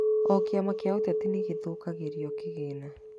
O kĩama kĩa ũteti nĩgĩthukagĩrwo kĩgĩna